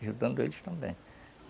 Ajudando eles também.